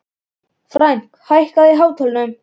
Frank, hækkaðu í hátalaranum.